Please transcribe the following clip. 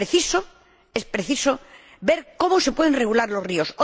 Es preciso ver cómo se pueden regular los ríos.